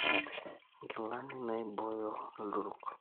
Nkilani naibooyo ill`duruki.